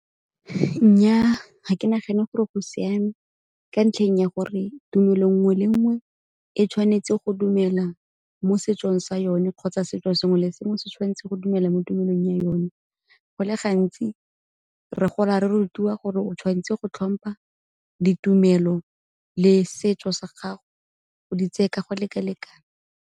Nnyaa, ga ke nagane gore go siame ka ntlheng ya gore tumelo nngwe le nngwe e tshwanetse go dumela mo setsong sa yone kgotsa setso sengwe le sengwe se tshwanetse go dumela mo tumelong ya yone. Go le gantsi re gola re rutiwa gore o tshwanetse go tlhompha ditumelo le setso sa gago, o di tseye ka go leka-lekana.